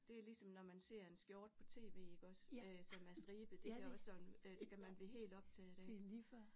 Det er ligesom når man ser en skjorte på tv iggås øh som er stribet det kan også sådan det kan man blive helt optaget af